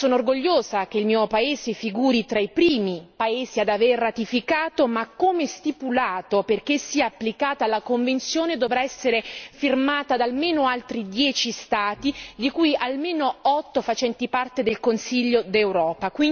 Sono orgogliosa che il mio paese figuri tra i primi paesi ad aver ratificato ma, come stipulato, perché sia applicata la convenzione dovrà essere firmata da almeno altri 10 Stati di cui almeno 8 facenti parte del Consiglio d'Europa.